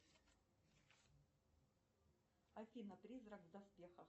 афина призрак в доспехах